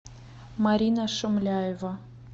марина шумляева